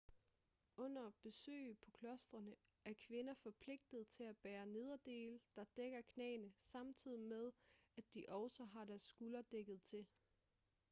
under besøg på klostrene er kvinder forpligtet til at bære nederdele der dækker knæene samtidig med at de også har deres skuldre dækket til